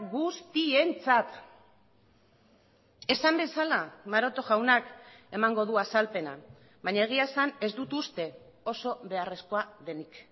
guztientzat esan bezala maroto jaunak emango du azalpena baina egia esan ez dut uste oso beharrezkoa denik